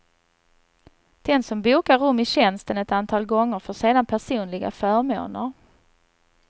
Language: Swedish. Den som bokar rum i tjänsten ett antal gånger får sedan personliga förmåner.